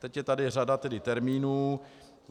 - Teď je tady řada termínů.